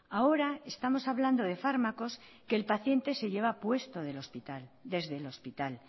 ahora estamos hablando de fármacos que el paciente se lleva puesto desde el hospital